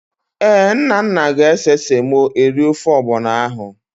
Ee, Nnanna ga-ese semo eri ofe ọgbọnọ ahụ.